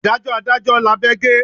Ìdájọ́ adájọ́ lábẹ́ gé.